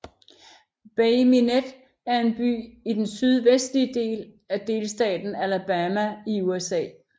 Bay Minette er en by i den sydvestlige del af delstaten Alabama i USA